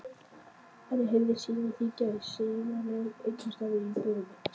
Henni heyrðist síminn hringja í sífellu einhvers staðar í íbúðinni.